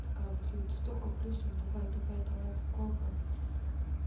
такая блин ты столько плюсов давай давай давай попробуем